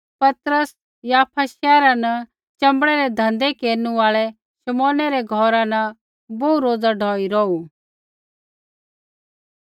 पतरस याफा शैहरा न च़ंबड़ै रै धन्धै केरनु आल़ै शमौनै रै घौरा न बोहू रोज़ा ढौई रौहू